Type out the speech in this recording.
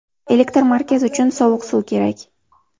Elektr markazi uchun sovuq suv kerak.